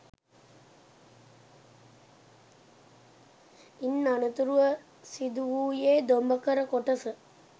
ඉන් අනතුරුව සිදුවූයේ දොඹකර කොටස